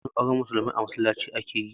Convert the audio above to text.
Yawanci auren musulmai a masallaci ake yi